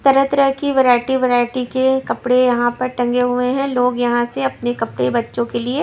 तरह-तरह की variety variety के कपड़े यहां पर टंगे हुए हैं लोग यहां से अपने कपड़े बच्चों के लिए--